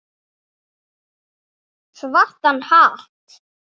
Svartan hatt.